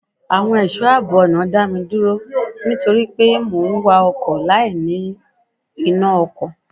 Àwọn ẹ̀ṣọ́ àbọ̀ ọ̀nà dá mi dúró nítorí pé mò ń wa ọkọ̀ láì ní iná ọkọ̀.